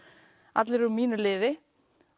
allir úr mínu liði